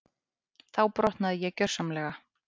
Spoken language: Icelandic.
Þá brotnaði ég gjörsamlega.